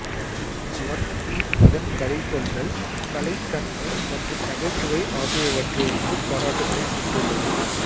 one piece அதன் கதைசொல்லல் கலை தன்மை மற்றும் நகைச்சுவை ஆகியவற்றிற்கு பாராட்டுக்களைப் பெற்றுள்ளது